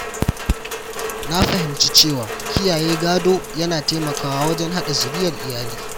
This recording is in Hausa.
Na fahimci cewa kiyaye gado yana taimakawa wajen haɗa zuriyar iyali.